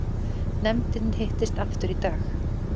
Nefndin hittist aftur í dag